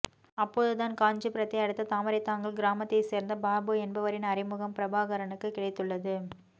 அப்போது தான் காஞ்சிபுரத்தை அடுத்த தாமரைத்தாங்கல் கிராமத்தைச் சேர்ந்த பாபு என்பவரின் அறிமுகம் பிரபாகரனுக்கு கிடைத்துள்ளது